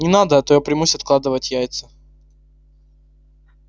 не надо а то я примусь откладывать яйца